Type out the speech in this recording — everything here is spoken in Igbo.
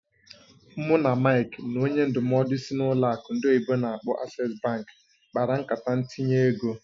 Mụ na Mike na onye ndụmọdụ sịị n'ụlọ akụ ndị oyibo n'akpọ "Access bank" kpara nkata ntinye ego.